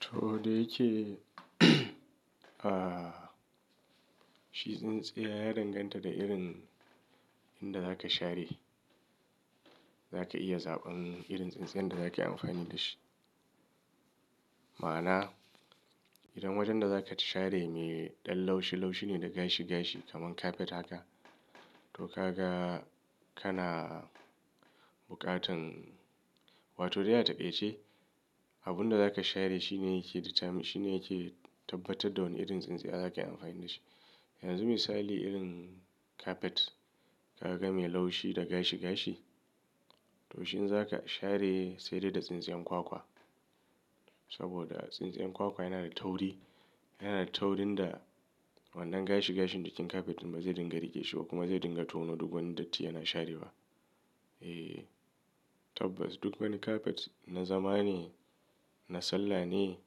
To da yake, ah, shi tsintsiya ya danganta da irin inda za ka share. Za ka iya zaɓan irin tsintsiyar da za ka yi amfani da shi. Ma'ana, idan wajen da za ka share me ɗan laushi, laushi ne da gashi, gashi kamar kafet haka, to ka ga kana bukatan. Wato, dai a taƙaice, abunda za ka share shi ne yake determine, shi ne yake tabbatar da wane irin tsintsiya za kai amfani da shi. Yanzu misali irin kafet, ka ga me laushi da gashi gashi, to shi in za ka share sai dai da tsintsiyan kwakwa. Saboda tsintsiyan kwakwa yana da tauri, yana da taurin da wannan gashi gashin jikin kafet ba zai dinga riƙe shi ba kuma zai dinga tono duk wani datti yana sharewa. Eh, tabbas duk wani kafet na zamane, na sallah ne,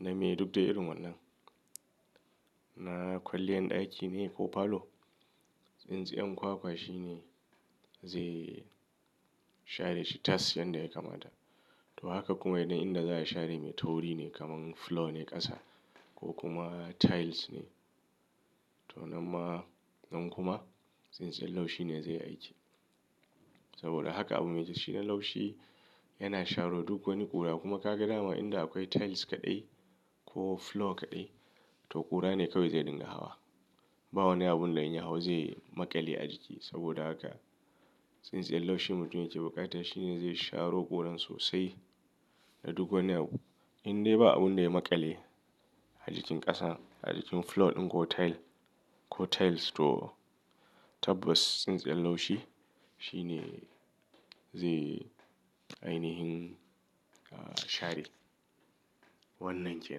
na me duk da irin wannan. Na kwalliyan ɗaki ne ko falo, tsintsiyan kwakwa shi ne zai share shi tas yanda ya kamata. To haka kuma idan inda za a share me tauri ne kamar flo ne ƙasa ko kuma tiles ne, to nan ma, nan kuma tsintsinloshi ne zai aiki. Saboda haka abu me loshi laushi yana sharo duk wani ƙura. Kuma ka ga dama inda akwai tiles kaɗai ko flo kaɗai, to ƙura ne kawai zai dinga hawa. Ba wani abun da in ya hau zai maƙale a jiki. Saboda haka, tsintsiyan laushi mutum yike bukata. Shi ne zai sharo ƙuran sosai da duk wani abu. Indai ba abun da ya maƙale a jikin ƙasan, a jikin flo ɗin ko tile ko tiles to tabbas tsintsiyan laushi shi ne zai ainihin, ah, share. Wannan ke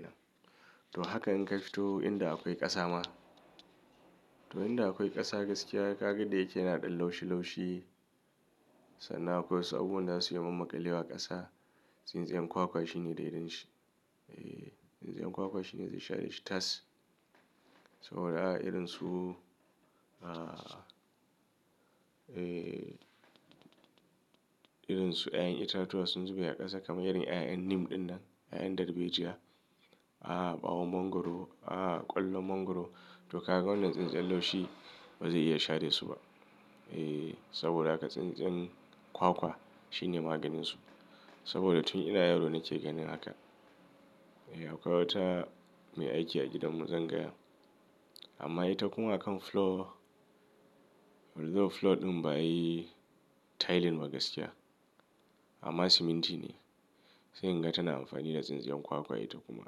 nan. To haka in ka fito inda akwai ƙasa ma, to inda akwai ƙasa gaskiya ka ga da yake na ɗan laushi, laushi sannan akwai su abubuwan da zasu iya mammaƙale wa ƙasa, tsintsiyan kwakwa shi ne da irin shi. Eh, tsintsiyan kwakwa shi ne zai share shi tas. Saboda ha irin su, ah, eh, irin su ƴaƴan itatuwa sun zube a ƙasa kamar yaren ƴaƴan nim ɗinnan, ƴaƴan dalbejiya. A'a, ɓawon mongoro, a'a, ƙwallon mongoro. To ka ga wannan tsintsiyan laushi ba zai iya share su ba. Eh, saboda haka tsintsiyan kwakwa shi ne maganin su. Saboda tun idan yaro ne ke ganin haka. Eh, akwai wata me aiki a gidan mu zan gaya. Amma ita kuma a kan flo, although flo ɗin ba ayi tile ba gaskiya amma siminti ne sai in gata na amfani da tsintsiyan kwakwa ita kuma.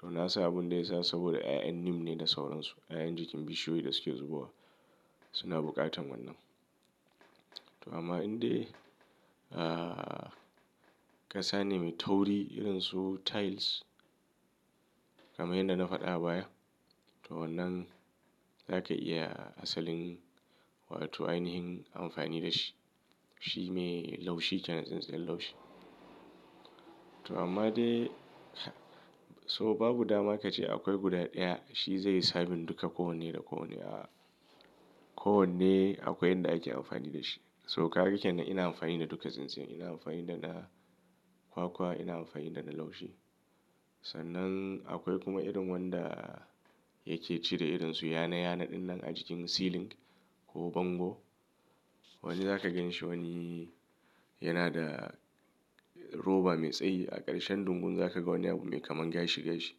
To na san abun da yasa saboda ƴaƴan nim ne da sauran su, ƴaƴan jikin bishiyoyi da suke zubowa suna bukatan wannan. To amma indai, ah, ƙasa ne me tauri irin su tiles kamar yanda na faɗa abaya, to wannan za ka iya asalin wato ainihin amfani da shi. Shi me laushi kenan tsintsiyan laushi. To amma dai, so babu dama kace akwai guda ɗaya shi zai yi sabin duka kowanne da kowanne. A'a, kowanne akwai yanda ake amfani da shi. So ka ga kenan ina amfani da duka tsintsin ina amfani da na kwakwa, ina amfani da na laushi. Sannan akwai kuma irin wanda yike cire irin su yana yana ɗinnan a jikin ceiling ko bango. Wani zaka ganshi wani yana da roba me tsayi a ƙarshen dungun. Za ka ga wani abu me kamar gashi gashi.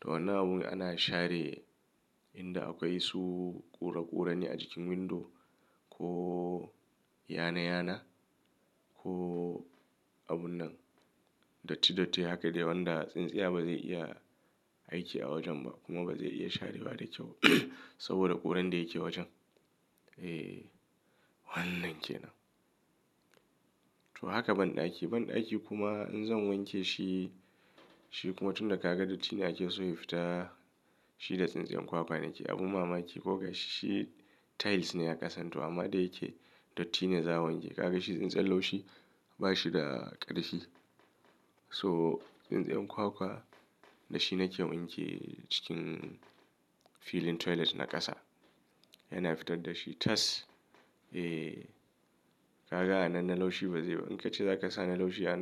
To wannan abun ana share inda akwai su ƙuraƙurane a jikin window ko yana yana ko abun nan. Datti datti haka dai wanda tsintsiya ba zai iya aiki a wajen ba kuma ba zai iya share wa da kyau. Saboda ƙuran da yake wajen. Eh, wannan ke nan. To haka banɗaki, banɗaki kuma in zan wanke shi, shi kuma tun da ka ga datti na ke so ya fita, shi da tsintsiyan kwakwa nake. Abu mamaki ko ga shi tiles ne ya ƙasa. To amma dai yake dattine za a wanke. Ka ga shi tsintsiyan laushi bashi da ƙarfi. So tsintsiyan kwakwa da shi nake wanke acikin filin toilet na ƙasa. Yana fitar da shi tas. Eh, ka ga anan na laushi bazai ba. In ka ci zakasa na laushi yana.